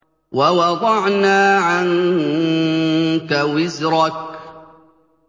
وَوَضَعْنَا عَنكَ وِزْرَكَ